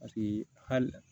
Paseke hali